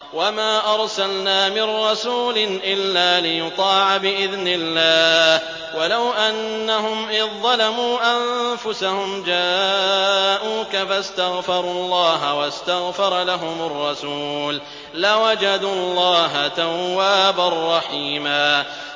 وَمَا أَرْسَلْنَا مِن رَّسُولٍ إِلَّا لِيُطَاعَ بِإِذْنِ اللَّهِ ۚ وَلَوْ أَنَّهُمْ إِذ ظَّلَمُوا أَنفُسَهُمْ جَاءُوكَ فَاسْتَغْفَرُوا اللَّهَ وَاسْتَغْفَرَ لَهُمُ الرَّسُولُ لَوَجَدُوا اللَّهَ تَوَّابًا رَّحِيمًا